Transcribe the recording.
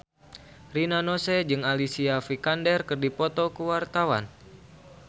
Rina Nose jeung Alicia Vikander keur dipoto ku wartawan